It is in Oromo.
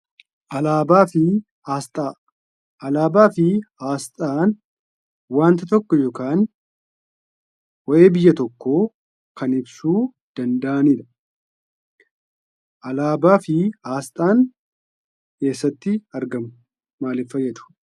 Alaabaa fi asxaa. Alaabaa fi asxaan waanta tokko yookaan waa'ee biyya tokko kan ibsuu danda'anidha. Alaabaa fi asxaan eessatti argaamu, maaliif faayadu?